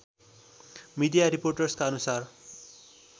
media रिपोर्टका अनुसार